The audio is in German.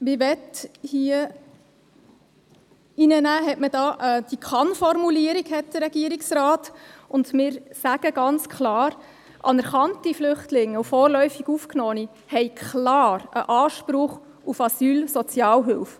Hier hat der Regierungsrat die Kann-Formulierung hineingenommen, und wir sagen ganz klar: Anerkannte Flüchtlinge und vorläufig Aufgenommene haben einen Anspruch auf Asylsozialhilfe.